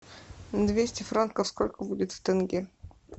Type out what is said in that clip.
двести франков сколько будет в тенге